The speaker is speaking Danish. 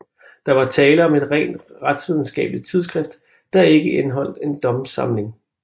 Der var tale om et rent retsvidenskabeligt tidsskrift der ikke indeholdte en domssamling